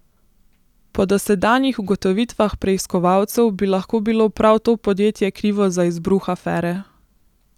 Po dosedanjih ugotovitvah preiskovalcev bi lahko bilo prav to podjetje krivo za izbruh afere.